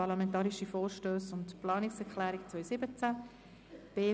Parlamentarische Vorstösse und Planungserklärungen 2017.